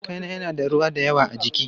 Kankana yana da ruwa da yawa a ciki.